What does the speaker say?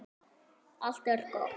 Allt er gott.